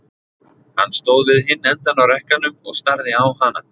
Hann stóð við hinn endann á rekkanum og starði á hana.